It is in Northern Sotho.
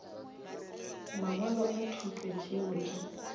mangwalo a thuto tšeo di